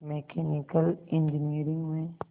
mechanical engineering में